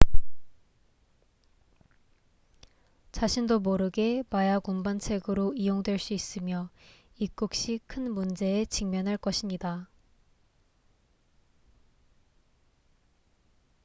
자신도 모르게 마약 운반책으로 이용될 수 있으며 입국 시 큰 문제에 직면할 것입니다